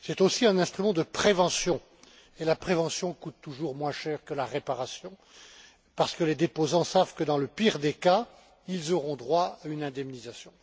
C'est aussi un instrument de prévention et la prévention coûte toujours beaucoup moins cher que la réparation parce que les déposants savent que, dans le pire des cas, ils auront droit à une indemnisation.